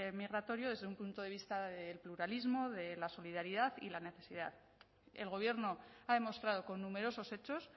migratorio desde un punto de vista del pluralismo de la solidaridad y la necesidad el gobierno ha demostrado con numerosos hechos